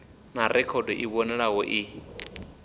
na rekhodo i vhonalaho i